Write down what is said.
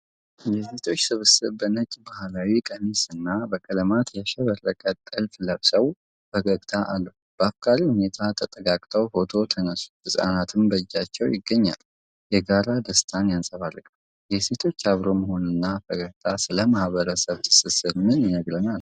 የሴቶች ስብስብ በነጭ ባህላዊ ቀሚስ እና በቀለማት ያሸበረቀ ጥልፍ ለብሰው ፈገግታ አለው። በአፍቃሪ ሁኔታ ተጠጋግተው ፎቶ ተነሱ፤ ህጻናትም በእጃቸው ይገኛሉ። የጋራ ደስታን ያንጸባርቃል። የሴቶቹ አብሮ መሆን እና ፈገግታ ስለ ማህበረሰብ ትስስር ምን ይነግረናል?